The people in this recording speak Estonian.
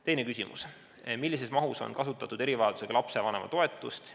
Teine küsimus: "Millises mahus on kasutatud erivajadusega lapse vanema toetust?